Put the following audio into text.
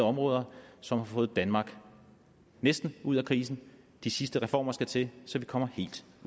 områder og som har fået danmark næsten ud af krisen de sidste reformer skal til så vi kan komme helt